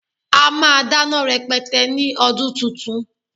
A máa dáná rẹpẹtẹ ní ọdún tuntun